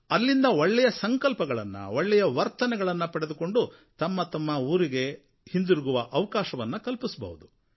ಅಲ್ಲಿಂದ ಒಳ್ಳೆಯ ಸಂಕಲ್ಪಗಳನ್ನು ಒಳ್ಳೆಯ ವರ್ತನೆಗಳನ್ನು ಪಡೆದುಕೊಂಡು ತಮ್ಮ ತಮ್ಮ ಊರಿಗೆ ಹಿಂದಿರುಗುವ ಅವಕಾಶವನ್ನು ಕಲ್ಪಿಸಬಹುದು